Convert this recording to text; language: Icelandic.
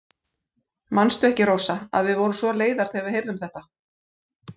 Manstu ekki, Rósa, að við vorum svo leiðar þegar við heyrðum þetta.